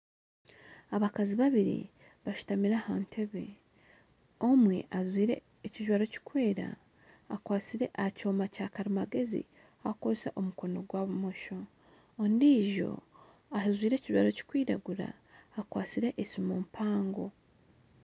Abakazi babiri bashutamire aha nteebe omwe ajwaire ekijwaro kirikwera akwatsire aha kyoma kyakarimagyezi arikukoresa omukono gwa bumosho ondiijo ajwaire ekijwaro kirikwiragura akwatsire esiimu mpango.